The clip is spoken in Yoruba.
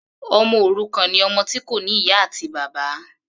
Ọmọ òrukàn ni ọmọ tí kò ní ìyá àti bàbá.